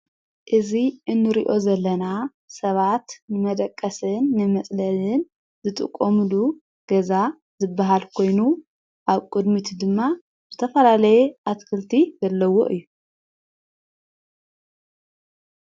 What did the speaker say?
እዙ እንርዮ ዘለና ሰባት መደቀስን ንመጽለልን ዝጥቖሙሉ ገዛ ዝበሃል ኮይኑ ኣብ ቅድሚቱ ድማ ዘተፈላለየ ኣትክልቲ ዘለዎ እዩ።